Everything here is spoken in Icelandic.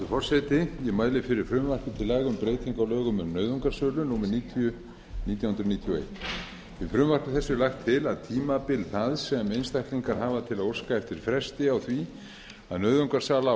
lögum um nauðungarsölu númer níutíu nítján hundruð níutíu og eitt í frumvarpi þessu er lagt til að tímabil það sem einstaklingar hafa til að óska eftir fresti á því að nauðungarsala á